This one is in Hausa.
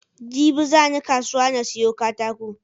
Jibi zani kasuwa na siyo katako